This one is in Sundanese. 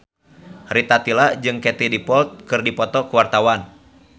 Rita Tila jeung Katie Dippold keur dipoto ku wartawan